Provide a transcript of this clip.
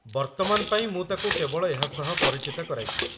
ବର୍ତ୍ତମାନ ପାଇଁ ମୁଁ ତାକୁ କେବଳ ଏହା ସହ ପରିଚିତ କରାଇ ଦିଏ।